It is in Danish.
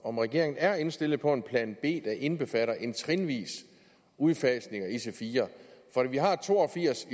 om regeringen er indstillet på at lave en plan b der indbefatter en trinvis udfasning af ic4 for vi har to og firs